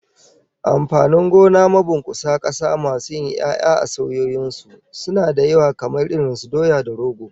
Amfanin gona mabunkusa kasa masu yin 'ya'ya a saiwoyin su, suna da yawa kamar irin su doya da rogo